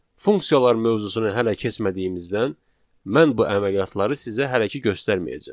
Funksiyalar mövzusunu hələ keçmədiyimizdən mən bu əməliyyatları sizə hələ ki göstərməyəcəm.